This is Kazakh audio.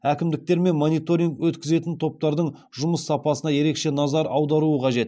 әкімдіктер мен мониторинг өткізетін топтардың жұмыс сапасына ерекше назар аударуы қажет